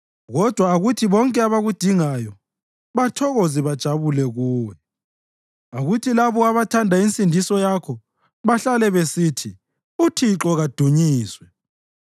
Kodwa akuthi bonke abakudingayo bathokoze bajabule kuwe; akuthi labo abathanda insindiso yakho bahlale besithi, “ uThixo kadunyiswe!”